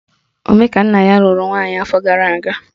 Omekannaya lụrụ nwaanyị afọ gara aga